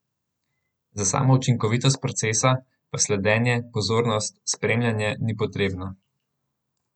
Za samo učinkovitost procesa, pa sledenje, pozornost, spremljanje ni potrebno.